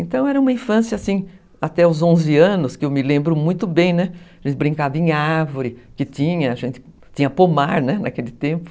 Então era uma infância, assim, até os onze anos, que eu me lembro muito bem, né, a gente brincava em árvore, que tinha, a gente tinha pomar, né, naquele tempo.